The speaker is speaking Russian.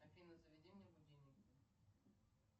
афина заведи мне будильник